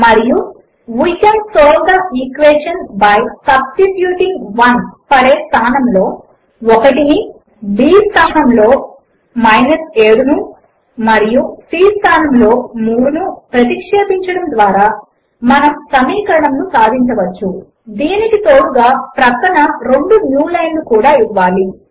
మరియు స్థానములో 1 ని b స్థానములో 7 ను మరియు c స్థానములో 3 ను ప్రతిక్షేపించడము ద్వారా మనము సమీకరణమును సాధించవచ్చు దీనికి తోడుగా ప్రక్కన రెండు న్యూ లైన్లు కూడా ఇవ్వాలి